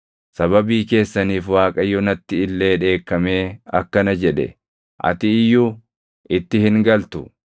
Sababii keessaniif Waaqayyo natti illee dheekkamee akkana jedhe; “Ati iyyuu itti hin galtu.